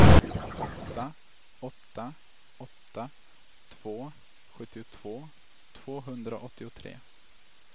åtta åtta åtta två sjuttiotvå tvåhundraåttiotre